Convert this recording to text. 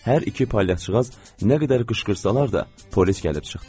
Hər iki palyaçıqaz nə qədər qışqırsalar da, polis gəlib çıxdı.